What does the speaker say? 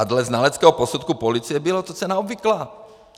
A dle znaleckého posudku policie to byla cena obvyklá.